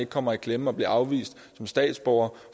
ikke kommer i klemme og bliver afvist som statsborger